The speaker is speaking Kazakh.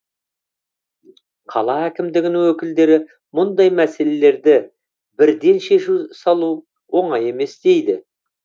қала әкімдігінің өкілдері мұндай мәселелерді бірден шеше салу оңай емес дейді